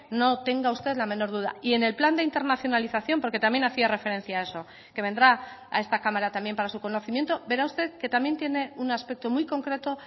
no tenga usted la menor duda y en el plan de internacionalización porque también hacía referencia a eso que vendrá a esta cámara también para su conocimiento verá usted que también tiene un aspecto muy concreto